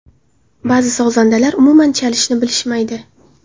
Ba’zi sozandalar umuman chalishni bilishmaydi.